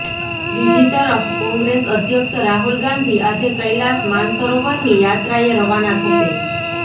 બીજી તરફ કોંગ્રેસ અધ્યક્ષ રાહુલ ગાંધી આજે કૈલાશ માનસરોવરની યાત્રાએ રવાના થશે